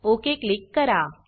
okay click करा